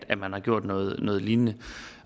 at man har gjort noget noget lignende